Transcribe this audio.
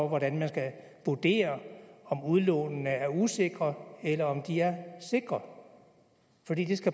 hvordan man skal vurdere om udlånene er usikre eller om de er sikre